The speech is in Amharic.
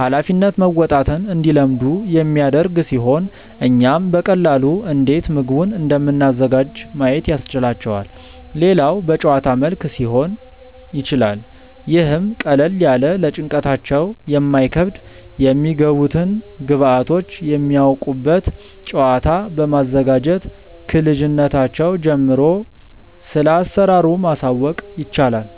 ሃላፊነት መወጣትን እንዲለምዱ የሚያደርግ ሲሆን እኛም በቀላሉ እንዴት ምግቡን እንደምናዘጋጅ ማየት ያስችላቸዋል። ሌላው በጨዋታ መልክ ሊሆን ይችላል ይህም ቀለል ያለ ለጭንቅላታቸው የማይከብድ የሚገቡትን ግብዐቶች የሚያውቁበት ጨዋታ በማዘጋጀት ክልጅነታቸው ጀምሮ ስለአሰራሩ ማሳወቅ ይቻላል።